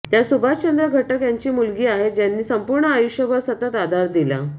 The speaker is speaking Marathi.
त्या सुभाष चंद्र घटक यांची मुलगी आहेत ज्यांनी संपूर्ण आयुष्यभर सतत आधार दिला